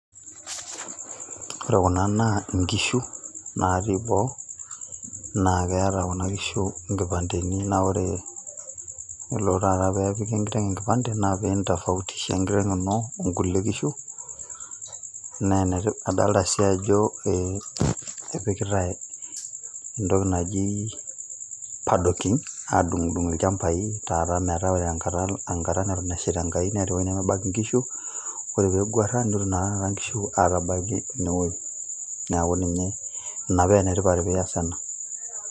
ore kunaa naa nkishu natii boo, naa keeta kuna kishu nkipandeni, naa ore pee elo taata nepiki enkiteng enkipande, naa pee into fautisha enkiteng ino onkulie kishu, naa enetipat, adoolta sii ajo ee epikitae entoki naji paddocking. aadung'idung' ilchampai, metaa ore enkata taata neton esheita enkai, nemeeta entoki nemebaiki nkishu, ore pee eguara, nitoki naa taata nkishu aatabaiki ine wueji. neeku ina paa ene tipat tenesi ena.